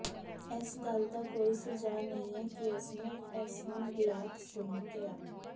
ਇਸ ਗੱਲ ਦਾ ਕੋਈ ਸੁਝਾਅ ਨਹੀਂ ਹੈ ਕਿ ਉਸਨੇ ਇਸ ਨੂੰ ਬਲੈਕ ਸੁਨ ਕਿਹਾ